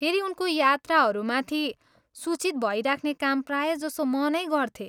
फेरि उनको यात्राहरूमाथि सूचित भइराख्ने काम प्रायजसो म नै गर्छु।